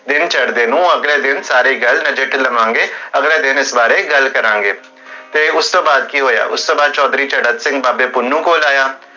ਦਿਨ ਚੜ੍ਹਦੇ ਨੂੰ, ਅਗਲੇ ਦਿਨ, ਸਾਰੀ ਗਲ ਨਜਿਠ ਲਵਾਂਗੇ, ਅਗਲੇ ਦਿਨ ਇਸ ਬਾਰੇ ਗਲ ਕਰਾਂਗੇ, ਤੇ ਉਸ ਤੋ ਬਾਅਦ ਕੀ ਹੋਇਆ, ਉਸ ਤੋ ਬਾਅਦ ਚੋਧਰੀ ਚਾਰਾਂ ਸਿੰਘ ਅਤੇ ਪੁੰਨੁ ਕੋਲ ਆਇਆ